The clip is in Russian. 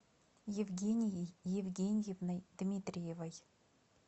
евгенией евгеньевной дмитриевой